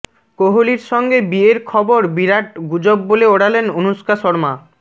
কোহলির সঙ্গে বিয়ের খবর বিরাট গুজব বলে ওড়ালেন অনুষ্কা শর্মা